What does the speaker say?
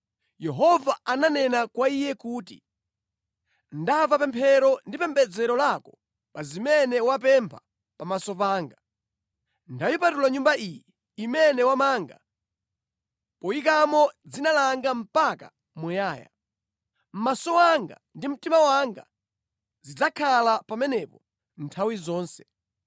Yehova ananena kwa iye kuti: “Ndamva pemphero ndi pembedzero lako pa zimene wapempha pamaso panga. Ndayipatula Nyumba iyi, imene wamanga, poyikamo Dzina langa mpaka muyaya. Maso anga ndi mtima wanga zidzakhala pamenepo nthawi zonse.